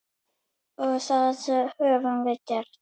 Og það höfum við gert.